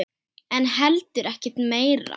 En heldur ekkert meira.